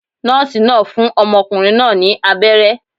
Nóòsì náà fún ọmọkùnrin náà ní abéré